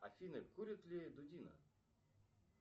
афина курит ли дудина